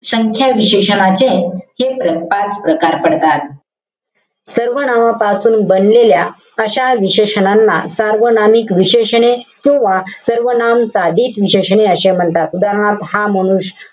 संख्या विशेषणाचे हे पाच प्रकार पडतात. सर्वनामापासुन बनलेल्या अशा विशेषणांना सार्वनामिक विशेषणे किंवा सर्वनाम साधित विशेषणे असे म्हणतात. उदाहरणार्थ हा मनुष्य,